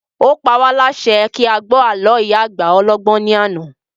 Ó pa wá lásẹ kí a gbọ́ àló ìyá àgbà ọlọ́gbọ́n ní àná